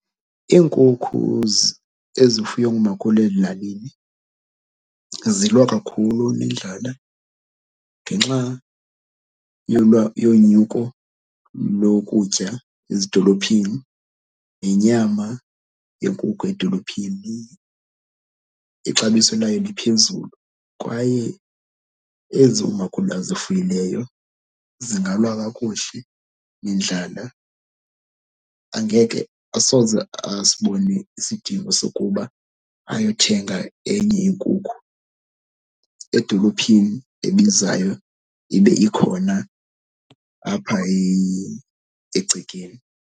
Iinkukhu ezifuywa ngumakhulu ezilalini zilwa kakhulu nendlala ngenxa yonyuko lokutya ezidolophini. Nenyama yenkukhu edolophini ixabiso layo liphezulu kwaye ezi umakhulu azifuyileyo, zingalwa kakuhle nendlala. Angeke asoze asibone isidingo sokuba ayothenga enye inkukhu edolophini ebizayo ibe ikhona apha egcekeni.